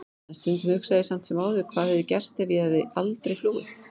En stundum hugsa ég samt sem áður hvað hefði gerst ef ég hefði aldrei flúið.